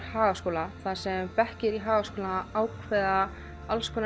Hagaskóla þar sem bekkir í Hagaskóla ákveða